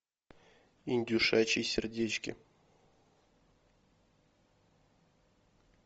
индюшачьи сердечки